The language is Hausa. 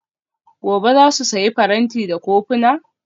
Gobe ​​za su sayi faranti da kofuna?